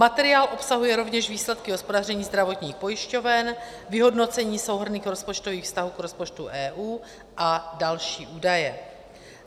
Materiál obsahuje rovněž výsledky hospodaření zdravotních pojišťoven, vyhodnocení souhrnných rozpočtových vztahů k rozpočtu EU a další údaje.